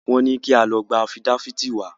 Wọ́n ní kí a lọ gba afídáfìtì wá.